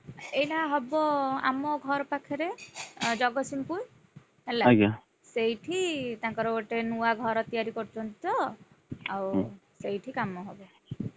ଏଇଟା ହବ ଆମ ଘର ପାଖରେ ଅ ଜଗତସିଂହପୁର, ହେଲା ସେଇଠି ତାଙ୍କର ଗୋଟେ ନୂଆ ଘର ତିଆରି କରୁଛନ୍ତି ତ, ଆଉ ସେଇଠି କାମ ହବ।